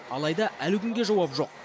алайда әлі күнге жауап жоқ